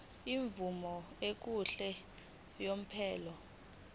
imvume yokuhlala unomphela